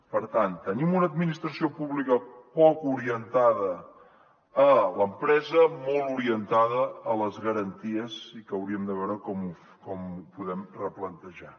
per tant tenim una administració pública poc orientada a l’empresa molt orientada a les garanties i que hauríem de veure com ho podem replantejar